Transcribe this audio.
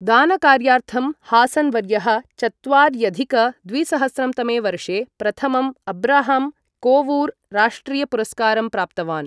दानकार्यार्थं हासन् वर्यः चत्वार्यधिक द्विसहस्रं तमे वर्षे प्रथमम् अब्राहम् कोवूर् राष्ट्रियपुरस्कारं प्राप्तवान्।